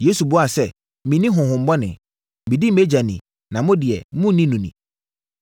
Yesu buaa sɛ, “Menni honhommɔne. Medi mʼAgya ni na mo deɛ monni no ni.